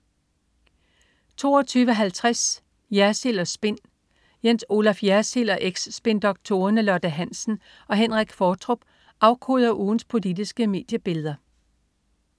22.50 Jersild & Spin. Jens Olaf Jersild og eks-spindoktorerne Lotte Hansen og Henrik Qvortrup afkoder ugens politiske mediebilleder